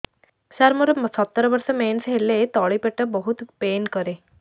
ସାର ମୋର ସତର ବର୍ଷ ମେନ୍ସେସ ହେଲେ ତଳି ପେଟ ବହୁତ ପେନ୍ କରେ